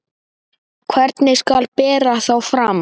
Hvernig skal bera þá fram?